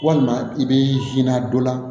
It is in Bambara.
Walima i b'i na dɔ la